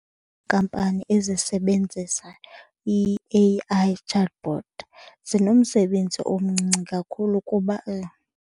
Iinkampani ezisebenzisa i-A_I chatbot zinomsebenzi omncinci kakhulu kuba .